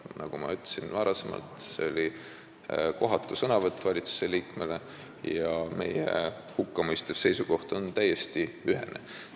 Nagu ma varem ütlesin, oli see kohatu sõnavõtt valitsusliikmelt ja meie hukkamõistev seisukoht on täiesti ühene.